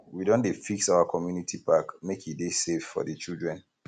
we don dey fix our community park make e dey safe for di children